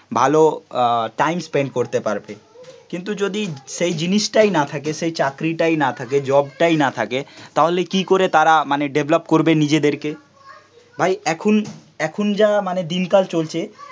ভালো time spend করতে পারবে. কিন্তু যদি সেই জিনিসটাই না থাকে সেই চাকরিটাই না থাকে, জবটাই না থাকে তাহলে কি করে তারা মানে ডেভেলপ করবে নিজেদেরকে, ভাই এখন এখন যা মানে দিনকাল চলছে